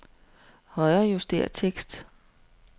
Højrejuster tekst.